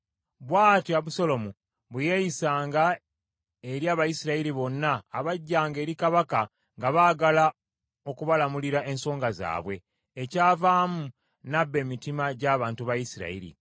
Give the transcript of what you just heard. Bw’atyo Abusaalomu bwe yeeyisanga eri Abayisirayiri bonna abajjanga eri kabaka nga baagala okubalamulira ensonga zaabwe. Ekyavaamu n’abba emitima gy’abantu ba Isirayiri.